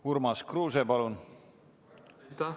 Urmas Kruuse, palun!